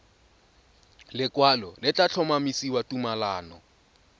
lekwalo le tla tlhomamisa tumalano